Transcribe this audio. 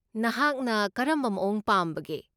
ꯅꯍꯥꯛꯅ ꯀꯔꯝꯕ ꯃꯑꯣꯡ ꯄꯥꯝꯕꯒꯦ?